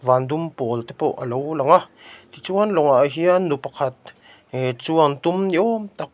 vân dum pâwl te pawh alo lang a tichuan lawngah hian nu pakhat ehh chuan tum ni awm tak--